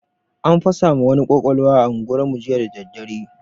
An fasa ma wani kwakwalwa a unguwar mu jiya dadadare